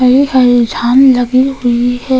हरी हरी झाल लगी हुई है।